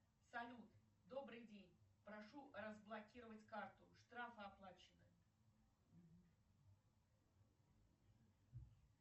салют добрый день прошу разблокировать карту штрафы оплачены